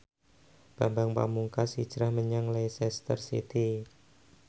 Bambang Pamungkas hijrah menyang Leicester City